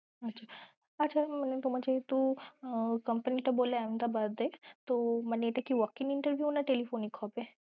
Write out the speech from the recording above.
আচ্ছা মনে তোমার যেহেতু আহ কোম্পানিটা বললে Ahmedabad এ তো মানে এটা কি walk in interview না telephonic হবে?